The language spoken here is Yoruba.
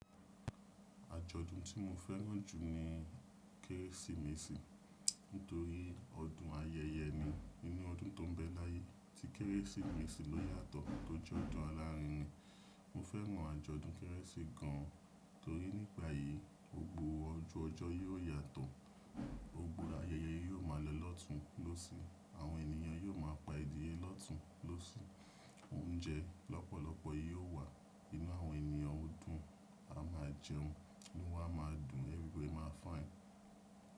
Àjọ̀dún tí mo fẹ́ràn jù ni Kérésìmesì nítorí ọdún ayẹyẹ ni. Nínú ọdún tó n bẹ láyé tí Kérésìmesì ló yàtọ̀ tó jẹ́ ọdún alárinrin. Mo fẹ́ràn àjọ̀dún Kérésì gan torí nígbà yìí gbogbo ọjọ́ yóò yàtọ̀, gbogbo ayẹyẹ yóò ma lọ lọ́tùn lósì, àwọn ènìyàn yóò ma pa ẹdíyẹ lọ́tùn lósì, oúnjẹ lọ́pọ̀lọpọ̀ yóò wà, inú àwọn ènìyàn ó dùn, a máa jẹun, inú wa máa dùn, everybody máa fine.